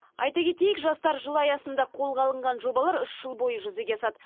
айта кетейік жастар жылы аясында қолға алынған жобалар үш жыл бойы жүзеге асады